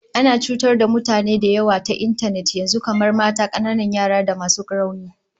Ana cutar da mutane da yawa ta intanet yanzu, kamar mata, kananan yara da masu rauni